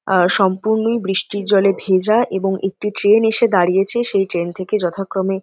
আর সম্পূর্ণই বৃষ্টির জলে ভেজা এবং একটি ট্রেন এসে দারিয়েছে। সেই ট্রেন থেকে যথাক্রমে--